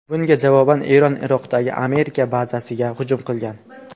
Bunga javoban Eron Iroqdagi Amerika bazasiga hujum qilgan .